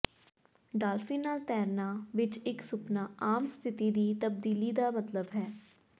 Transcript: dolphin ਨਾਲ ਤੈਰਨਾ ਵਿੱਚ ਇੱਕ ਸੁਪਨਾ ਆਮ ਸਥਿਤੀ ਦੀ ਤਬਦੀਲੀ ਦਾ ਮਤਲਬ ਹੈ